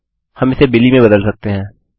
हम इसे बिली में बदल सकते हैं